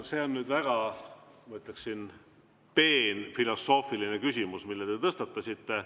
No see on väga, ma ütleksin, peen filosoofiline küsimus, mille te tõstatasite.